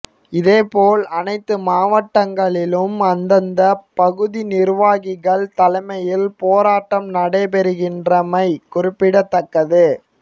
இதேபோல் அனைத்து மாவட்டங்களிலும் அந்தந்த பகுதி நிர்வாகிகள் தலைமையில் போராட்டம் நடைபெறுகின்றமை குறிப்பிடத்தக்கது